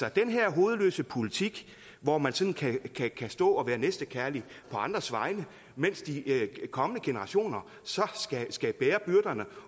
at den her hovedløse politik hvor man sådan kan kan stå og være næstekærlig på andres vegne mens de kommende generationer så skal bære byrderne